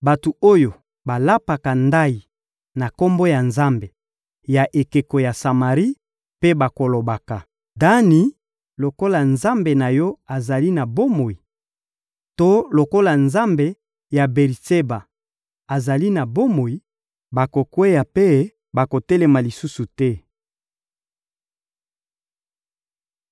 Bato oyo balapaka ndayi na kombo ya nzambe ya ekeko ya Samari mpe balobaka: ‹Dani, lokola nzambe na yo azali na bomoi› to ‹lokola nzambe ya Beri-Sheba azali na bomoi,› bakokweya mpe bakotelema lisusu te.»